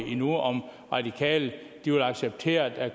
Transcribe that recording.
endnu om radikale vil acceptere at